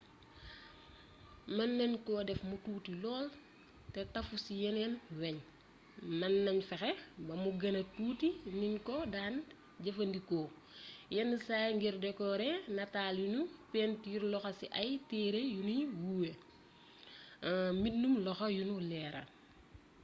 mën nañ ko def mu tuuti lool te tafu ci yeneeni weñ mën nañ fexe bamu gëna tuuti niñ ko daan jëfandikoo yenn saay ngir dekoore nataal yuñu pentiiree loxo ci ay téere yuñuy woowee mbindum loxo yuñu leeral